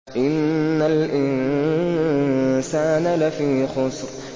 إِنَّ الْإِنسَانَ لَفِي خُسْرٍ